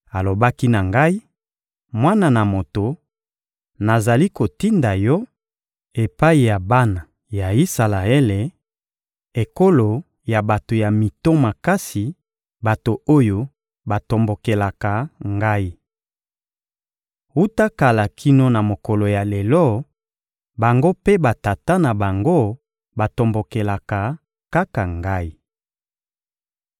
Alobaki na ngai: «Mwana na moto, nazali kotinda yo epai ya bana ya Isalaele, ekolo ya bato ya mito makasi, bato oyo batombokelaka ngai. Wuta kala kino na mokolo ya lelo, bango mpe batata na bango batombokelaka kaka ngai.